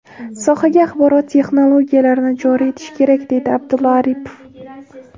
Sohaga axborot texnologiyalarini joriy etish kerak”, deydi Abdulla Aripov.